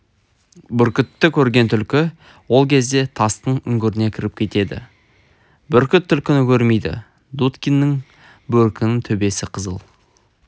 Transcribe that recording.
бүркітті көрген түлкі ол кезде тастың үңгіріне кіріп кетеді бүркіт түлкіні көрмейді дудкиннің бөркінің төбесі қызыл